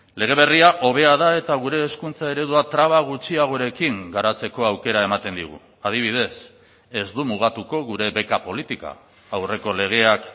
lege berria hobea da eta gure hezkuntza eredua traba gutxiagorekin garatzeko aukera ematen digu adibidez ez du mugatuko gure beka politika aurreko legeak